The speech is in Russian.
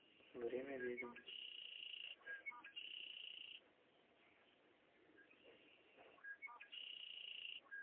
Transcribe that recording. время ведьм